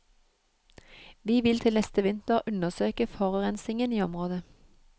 Vi vil til neste vinter undersøke forurensingen i området.